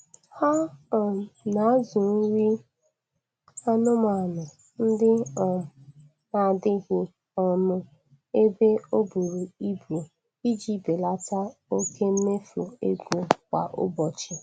Ha um na-azụ nri anụmanụ ndị um a n'adịghị ọnụ ebe o buru ibu iji belata oke mmefu ego kwa ụbọchi.